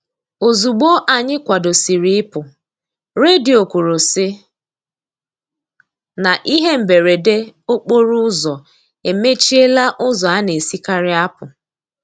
Ozugbo anyị kwadosiri ị pụ, redio kwuru sị na ihe mberede okporo ụzọ emechiela ụzọ a na-esikari apụ.